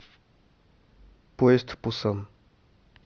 поезд в пусан